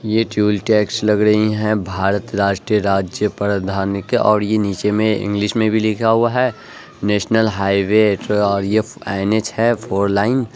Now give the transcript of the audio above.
ये toll tax लग रही हैं भारत राष्ट्रीय राज्य प्रधान के और ये नीचे मे इंग्लिश मे भी लिखा हुआ है नेशनल हाईवे ये एन.एच. है फॉर लाइन ।